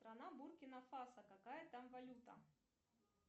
страна буркина фасо какая там валюта